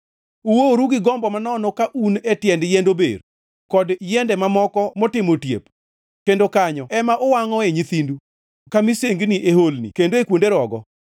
Uoworu gi gombo manono ka un e tiend yiend ober kod yiende mamoko motimo otiep; kendo kanyo ema uwangʼoe nyithindu ka misengini e holni kendo e kuonde rogo.